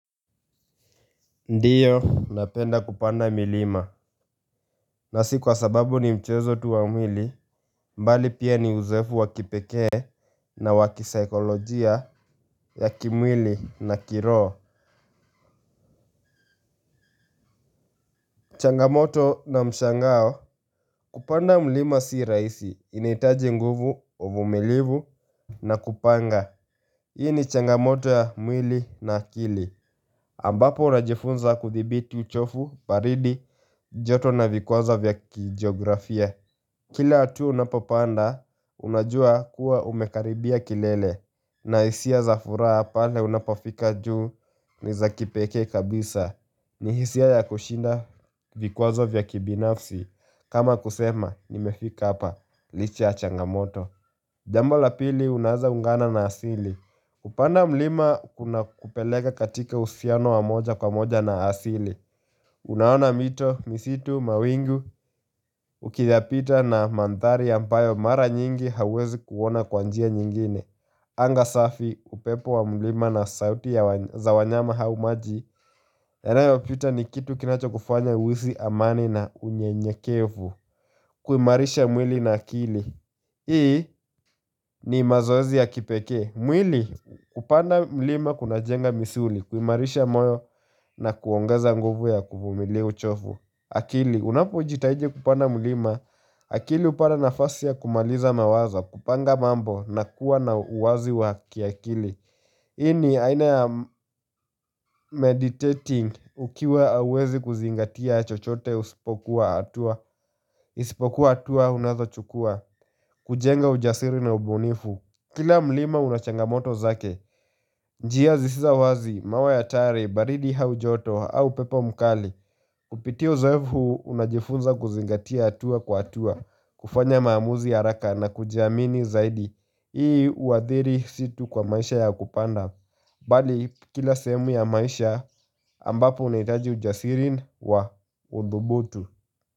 Ndiyo napenda kupanda milima na si kwa sababu ni mchezo tu wa mwili mbali pia ni uzoefu wa kipekee na wakisaikolojia ya kimwili na kiroo changamoto na mshangao kupanda mlima si raisi inaitaji nguvu uvumilivu na kupanga Hii ni changamoto ya mwili na akili ambapo najifunza kuthibiti uchovu baridi joto na vikwaza vya kijiografia Kila hatu unapopanda unajua kuwa umekaribia kilele na hisia za furaha pale unapofika juu ni za kipekee kabisa ni hisia ya kushinda vikwazo vya kibinafsi kama kusema nimefika hapa licha ya changamoto Jambo la pili unaeza ungana na asili kupanda mlima kunakupeleka katika usiano wa moja kwa moja na asili Unaona mito, misitu, mawingu, ukiyapita na manthari ampayo mara nyingi hauwezi kuona kwa njia nyingine Anga safi, upepo wa mlima na sauti za wanyama hau maji yanayo pita ni kitu kinachokufanya uisi amani na unyenyekevu kuimarisha mwili na akili Hii ni mazoezi ya kipekee mwili, hupanda mlima kunajenga misuli kuimarisha moyo na kuongeza nguvu ya kuvumilia uchofu akili, unapojitaidi kupanda mlima, akili upata nafasi ya kumaliza mawazo, kupanga mambo na kuwa na uwazi wa kiakili hii ni aina ya meditating ukiwa auwezi kuzingatia chochote usipokuwa hatua, isipokuwa hatua unazochukua, kujenga ujasiri na ubunifu Kila mlima una changamoto zake, njia zisizo wazi, mawe atari, baridi hau joto au upepo mkali Kupitia uzoefu unajifunza kuzingatia atua kwa atua, kufanya maamuzi ya araka na kujiamini zaidi Hii uathiri si tu kwa maisha ya kupanda, bali kila sehemu ya maisha ambapo unaitaji ujasiri wa udhubutu.